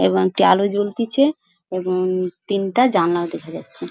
এবং একটি আলো জ্বলতিছে এবং তিনটা জানলা দেখা যাচ্ছে।